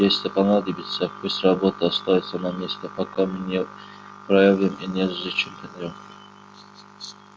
если понадобится пусть роботы остаются на месте пока мы не проявим и не изучим плёнки